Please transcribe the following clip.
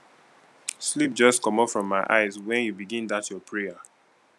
sleep just comot from my eyes wen you begin dat your prayer